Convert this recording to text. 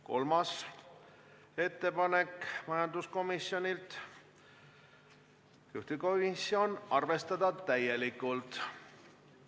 Kolmas ettepanek on taas majanduskomisjonilt, juhtivkomisjoni ettepanek: arvestada täielikult.